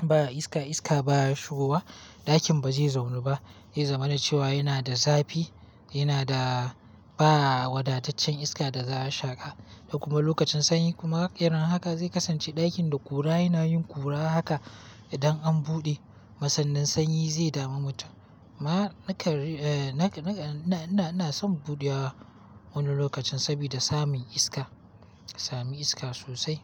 ba iska, iska baya shigowa ɗakin bazai zaunu ba. Zai zama na cewa yana da zafi, yana da ba wadataccen iska da za a shaƙa. Kuma lokacin sanyi kuma irin haka zai kasance ɗakin da ƙura yana yin ƙura haka idan an buɗe. Kuma sannan sanyi zai dami mutum. Ma nakan, ina son buɗewa wani lokacin saboda samin iska, samin iska sosai.